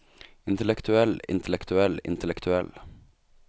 intellektuell intellektuell intellektuell